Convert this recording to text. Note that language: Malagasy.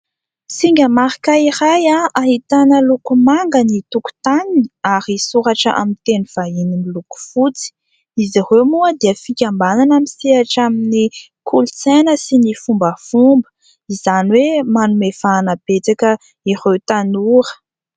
Singa marika iray ahitana loko manga ny tokotaniny ary soratra amin'ny teny vahiny miloko fotsy. Izy ireo moa dia fikambanana misehatra amin'ny kolontsaina sy ny fombafomba, izany hoe manome vahana betsaka ireo tanora.